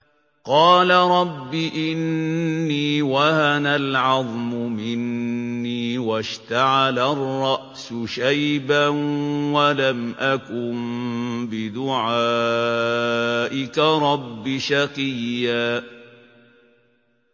قَالَ رَبِّ إِنِّي وَهَنَ الْعَظْمُ مِنِّي وَاشْتَعَلَ الرَّأْسُ شَيْبًا وَلَمْ أَكُن بِدُعَائِكَ رَبِّ شَقِيًّا